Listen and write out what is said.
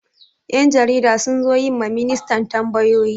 Yan jarida sun zo yi ma ministan tambayoyi.